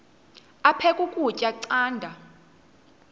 aphek ukutya canda